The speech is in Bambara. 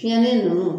Fiɲɛli ninnu